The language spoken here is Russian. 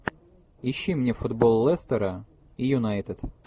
ищи мне футбол лестера и юнайтед